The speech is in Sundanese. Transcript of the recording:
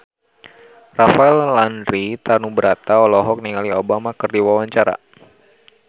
Rafael Landry Tanubrata olohok ningali Obama keur diwawancara